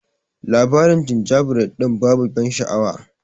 Labarin jinjabred dinnan babu ban sha'awa.